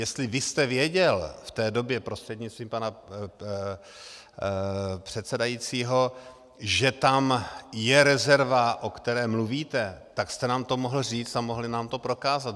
Jestli vy jste věděl v té době prostřednictvím pana předsedajícího, že tam je rezerva, o které mluvíte, tak jste nám to mohl říct a mohli nám to prokázat.